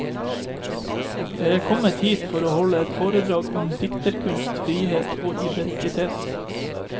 Jeg er kommet hit for å holde et foredrag om dikterkunst, frihet og identitet.